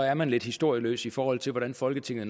er man lidt historieløs i forhold til hvordan folketinget